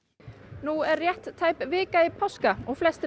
nú er tæp vika í páskadag og flestir